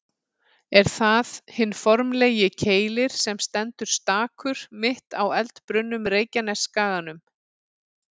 Er það hinn formfagri Keilir sem stendur stakur, mitt á eldbrunnum Reykjanesskaganum.